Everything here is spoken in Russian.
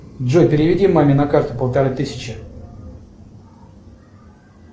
джой переведи маме на карту полторы тысячи